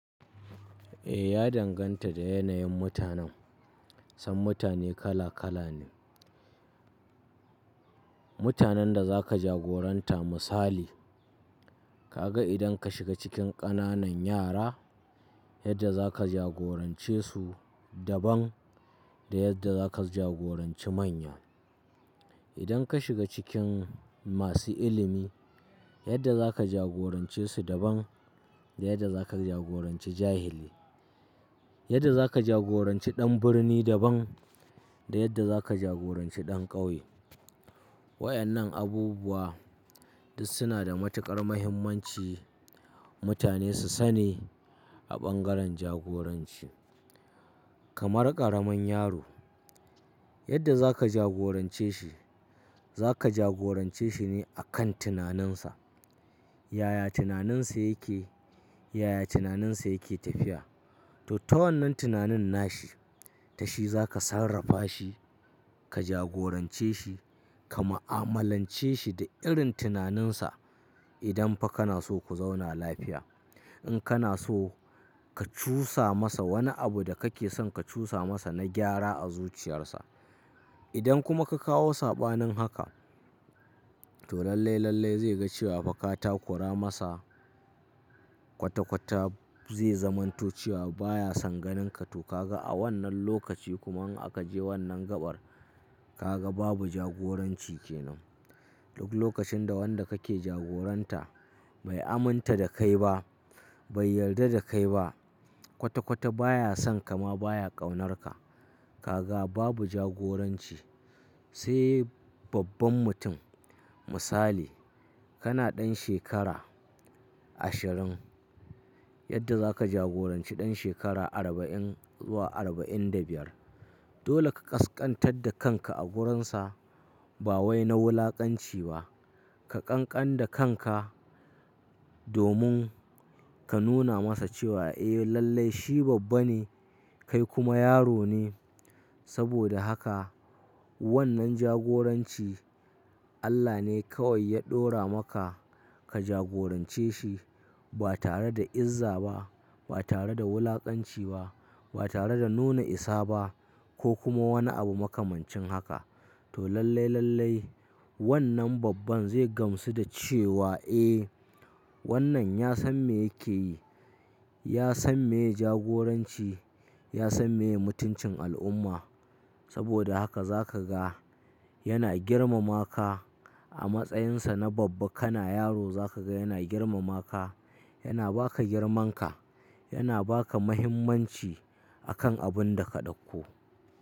Eh ya danganta da yanayin mutanen, san mutane kala kala ne. Mutanen da zaka jagoranta misali, ka ga idan ka shiga cikin ƙananan yara yadda za ka jagorance su daban da yadda za ka jagoranci manya. Idan ka shiga cikin masu ilimi yadda za ka jagorance su daban da yadda za ka jagoranci jahili, yadda za ka jagoranci ɗan birni daban da yadda za ka jagoranci ɗan ƙauye. Waƴannan abubuwa duk suna da matuƙar muhimmanci mutane su sani a bangaren jagoranci. Kamar ƙaramin yaro, yadda za ka jagorance shi, za ka jagorance shi ne akan tunaninsa. Yaya tunaninsa yake, yaya tunaninsa yake tafiya to ta wannan tunanin nashi tashi za ka sarrafa shi, ka jagorance shi, ka mu'amalance shi da irin tunaninsa idan fa kana so ku zauna lafiya. In kana so ka cusa masa wani abu da kake son ka cusa masa na gyara a zuciyarsa. Idan kuma ka kawo saɓanin haka to lallai lallai zai ga cewa fa ka takura masa kwata kwata zai zamanto cewa baya son ganinka to ka ga a wannan lokaci kuma in aka je wannan gaɓar ka ga babu jagoranci kenan. Duk lokacin da wanda kake jagoranta bai aminta da kai ba, bai yarda da kai ba kwata kwata baya son ka ma baya ƙaunarka. Ka ga babu jagoranci. Sai babban mutum misali kana ɗan shekara ashirin yadda za ka jagoranci ɗan shekara arba'in zuwa arba'in da biyar. Dole ka ƙasƙantar da kanka a wurinsa ba wai na wulaƙanci ba. Ka ƙanƙan da kanka domin ka nuna masa cewa eh lallai shi babba ne kai kuma yaro ne. Saboda haka wannan jagoranci Allah ne kawai ya ɗora maka ka jagorance shi ba tare da izza ba, ba tare da wulaƙanci ba, ba tare da nuna isa ba ko kuma wani abu makamancin haka. To lallai lallai wannan babban zai gamsu da cewa eh wannan ya san me yake yi, ya san meye jagoranci, ya san meye mutuncin al'umma. Saboda haka za ka ga yana girmama ka a matsayinsa na babba kana yaro za ka ga yana girmama ka, yana ba ka girmanka, yana ba ka muhimmanci akan abun da ka ɗauko.